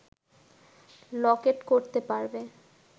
লকেট করতে পারবে